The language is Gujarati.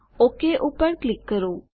ઓક પર ક્લિક કરો